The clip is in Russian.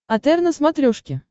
отр на смотрешке